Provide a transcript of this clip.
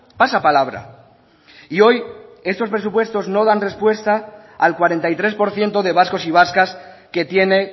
pasa palabra y hoy esos presupuestos no dan respuesta al cuarenta y tres por ciento de vascos y vascas que tiene